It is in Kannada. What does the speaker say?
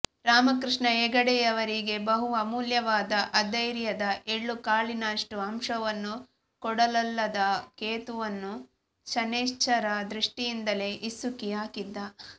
ರಾಮಕೃಷ್ಣ ಹೆಗಡೆಯವರಿಗೆ ಬಹು ಅಮೂಲ್ಯವಾದ ಅಧೈರ್ಯದ ಎಳ್ಳುಕಾಳಿನಷ್ಟೂ ಅಂಶವನ್ನೂ ಕೊಡಲೊಲ್ಲದ ಕೇತುವನ್ನು ಶನೈಶ್ಚರ ದೃಷ್ಟಿಯಿಂದಲೇ ಹಿಸುಕಿ ಹಾಕಿದ್ದ